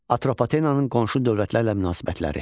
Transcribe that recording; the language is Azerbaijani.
Atropatenanın qonşu dövlətlərlə münasibətləri.